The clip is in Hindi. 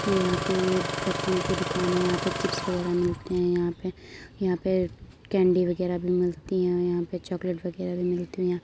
इसके यहाँं पे ये फार्च्यून की दुकान है। यहाँं पे चिप्स वगेरा मिलते हैं। यहाँं पे यहाँ पे कैंडी वगेरा भी मिलती हैं और यहाँं पे चोकलेट वगेरा भी मिलती हैं।